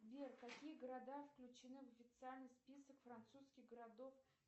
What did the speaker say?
сбер какие города включены в официальный список французских городов